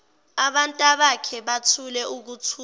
abantabakhe bathule ukuthula